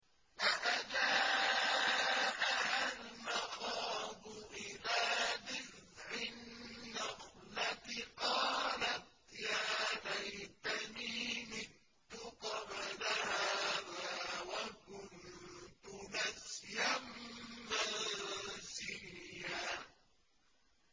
فَأَجَاءَهَا الْمَخَاضُ إِلَىٰ جِذْعِ النَّخْلَةِ قَالَتْ يَا لَيْتَنِي مِتُّ قَبْلَ هَٰذَا وَكُنتُ نَسْيًا مَّنسِيًّا